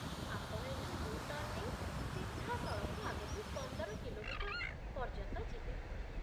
ଆପଣ ଏଠୁ U turn ନେଇ ସିଧାସଳଖ ଆଗକୁ ପନ୍ଦର କିଲୋମିଟର୍ ପର୍ଯ୍ୟନ୍ତ ଯିବେ ।